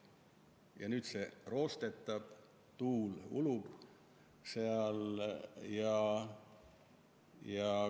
Ja nüüd see roostetab, tuul ulub seal.